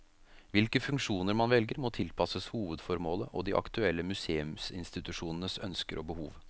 Hvilke funksjoner man velger, må tilpasses hovedformålet og de aktuelle museumsinstitusjonenes ønsker og behov.